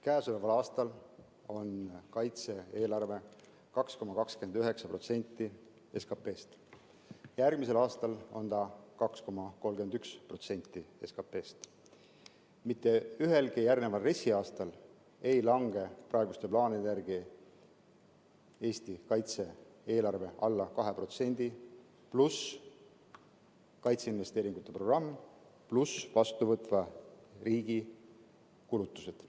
Käesoleval aastal on kaitse-eelarve 2,29% SKP‑st. Järgmisel aastal on see 2,31% SKP‑st. Mitte ühelgi järgneval RES‑i aastal ei lange praeguste plaanide järgi Eesti kaitse-eelarve alla 2%, pluss kaitseinvesteeringute programm, pluss vastuvõtva riigi kulutused.